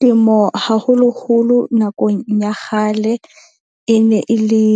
Temo, haholoholo nakong ya kgale, e ne e le